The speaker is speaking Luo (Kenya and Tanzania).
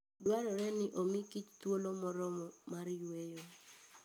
Dwarore ni omi kich thuolo moromo mar yueyo.